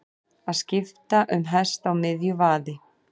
Að skipta um hest á miðju vaði